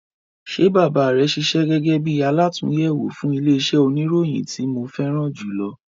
Ṣe bàbá rẹ ṣiṣẹ́ gẹgẹ bí alàtúnyẹwò fún ilẹ iṣẹ oníròyìn ti mo fẹràn julọ?